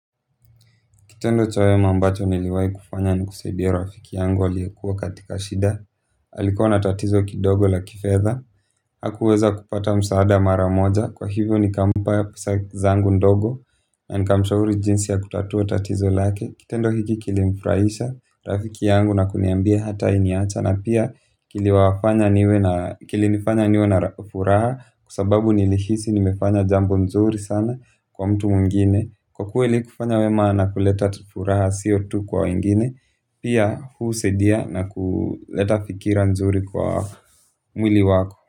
Kitendo cha wema ambacho niliwahi kufanya ni kusaidia rafiki yangu aliyekuwa katika shida. Alikuwa na tatizo kidogo la kifedha. Hakuweza kupata msaada mara moja. Kwa hivyo nikampa pesa zangu ndogo. Na nikamshauri jinsi ya kutatua tatizo lake. Kitendo hiki kilimfurahisha rafiki yangu na kuniambia hatai niacha. Na pia kilinifanya niwe na furaha. Kwa sababu nilihisi nimefanya jambo nzuri sana kwa mtu mwingine. Kwa kuwa ili kufanya wema na kuleta tu furaha sio tu kwa wengine pia husaidia na kuleta fikra nzuri kwa mwili wako.